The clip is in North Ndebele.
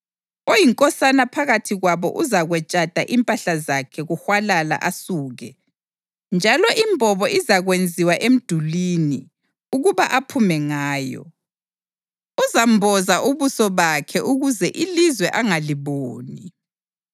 Oyinkosana phakathi kwabo uzakwetshatha impahla zakhe kuhwalala asuke, njalo imbobo izakwenziwa emdulini ukuba aphume ngayo. Uzamboza ubuso bakhe ukuze ilizwe angaliboni.